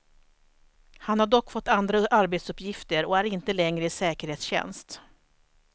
Han har dock fått andra arbetsuppgifter och är inte längre i säkerhetstjänst.